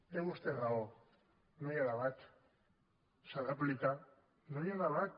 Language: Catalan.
té vostè raó no hi ha debat s’ha d’aplicar no hi ha debat